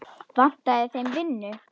Vantaði þeim vinnu?